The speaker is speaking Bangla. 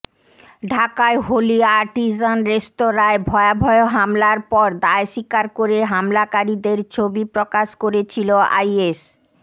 ঢাকায় হোলি আর্টিজান রেস্তোঁরায় ভয়াবহ হামলার পর দায় স্বীকার করে হামলকারীদের ছবি প্রকাশ করেছিলো আইএস